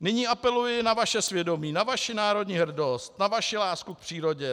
"Nyní apeluji na vaše svědomí, na vaši národní hrdost, na vaši lásku k přírodě.